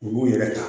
U b'u yɛrɛ ta